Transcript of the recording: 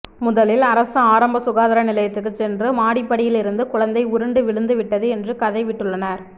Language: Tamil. முதலில் அரசு ஆரம்ப சுகாதார நிலையத்துக்கு சென்று மாடிப்படியில் இருந்து குழந்தை உருண்டு விழுந்து விட்டது என்று கதை விட்டுள்ளனர்